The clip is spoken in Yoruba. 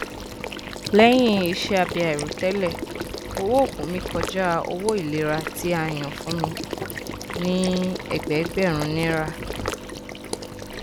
lẹyìn iṣẹ abẹ àìròtẹlẹ owó oògùn mi kọjá owó ìlera tí a yàn fún mi ní ẹgbẹẹgbèrún naira